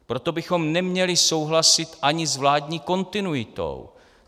Proto bychom neměli souhlasit ani s vládní kontinuitou.